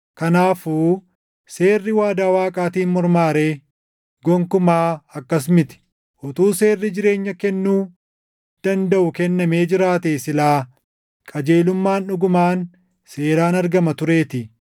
Kanaafuu seerri waadaa Waaqaatiin mormaa ree? Gonkumaa akkas miti! Utuu seerri jireenya kennuu dandaʼu kennamee jiraatee silaa qajeelummaan dhugumaan seeraan argama tureetii.